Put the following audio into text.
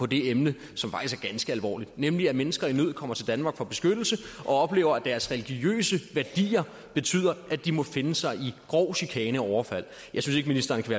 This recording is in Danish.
det emne som faktisk er ganske alvorligt nemlig at mennesker i nød kommer til danmark og får beskyttelse og oplever at deres religiøse værdier betyder at de må finde sig i grov chikane og overfald jeg synes ikke ministeren kan